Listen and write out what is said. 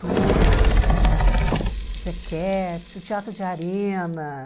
Turma também, Zequette, o Teatro de Arena.